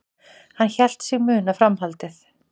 Hann hélt sig muna framhaldið.